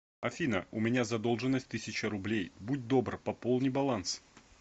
афина у меня задолженность тысяча рублей будь добр пополни баланс